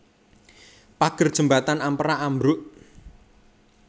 Pager jembatan Ampera ambruk